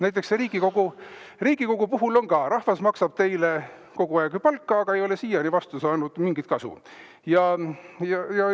Näiteks Riigikogu puhul on nii, et rahvas maksab teile kogu aeg palka, aga ei ole siiani vastu saanud mingit kasu.